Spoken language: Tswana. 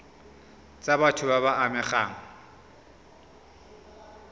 tsa batho ba ba amegang